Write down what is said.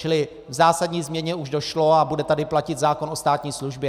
Čili k zásadní změně už došlo a bude tady platit zákon o státní službě.